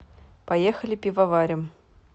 поехали пивоварим